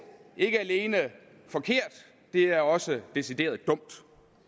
ikke alene forkert det er også decideret dumt